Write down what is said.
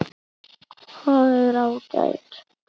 Það er ágætt.